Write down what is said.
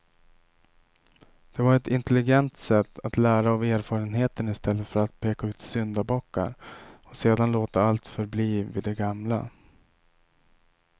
Det var ett intelligent sätt att lära av erfarenheten i stället för att peka ut syndabockar och sedan låta allt förbli vid det gamla.